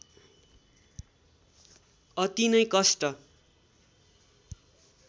अति नै कष्ट